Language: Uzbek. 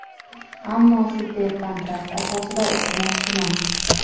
ammo super kontrakt asosida o‘qimoqchiman.